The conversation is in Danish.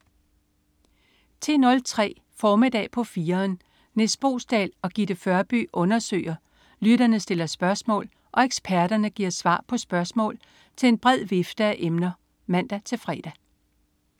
10.03 Formiddag på 4'eren. Nis Boesdal og Gitte Førby undersøger, lytterne stiller spørgsmål og eksperterne giver svar på spørgsmål til en bred vifte af emner (man-fre)